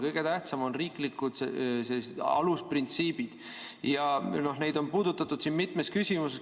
Kõige tähtsamad on riiklikud alusprintsiibid ja neid on puudutatud siin mitmes küsimuses.